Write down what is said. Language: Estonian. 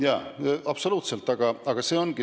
Jaa, absoluutselt.